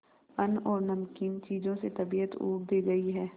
अन्न और नमकीन चीजों से तबीयत ऊब भी गई है